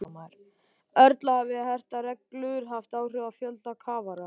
Erla, hafa hertar reglur haft áhrif á fjölda kafara?